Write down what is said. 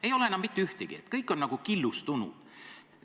Ei ole enam ühtegi, kõik on killustunud.